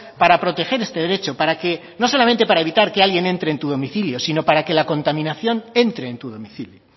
para proteger este derecho para que no solamente para evitar que alguien entre en tu domicilio sino para que la contaminación entre en tu domicilio